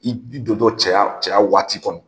I don tɔ cɛya cɛya waati kɔnɔ